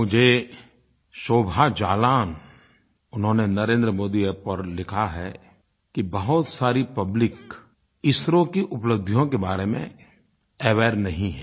मुझे शोभा जालान उन्होंने NarendraModiApp पर लिखा है कि बहुत सारी पब्लिक इसरो की उपलब्धियों के बारे में अवेयर नहीं है